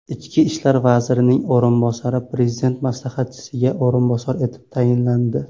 Ichki ishlar vazirining o‘rinbosari Prezident maslahatchisiga o‘rinbosar etib tayinlandi.